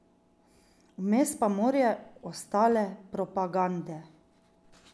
Vmes pa morje ostale propagande.